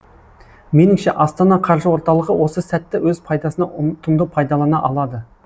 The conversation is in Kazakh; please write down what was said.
меніңше астана қаржы орталығы осы сәтті өз пайдасына ұтымды пайдалана алады